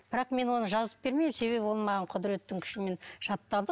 бірақ мен оны жазып бермеймін себебі ол маған құдыреттің күшімен жатталды